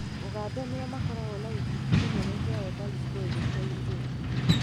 ũganda nĩo makoragwo na gĩkundi kĩnene kĩa ethari ngũĩ gĩcigo-inĩ gĩkĩ